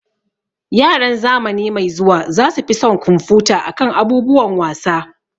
Yaran zamani mai zuwa za su fi son kumfuta akan abubuwan wasa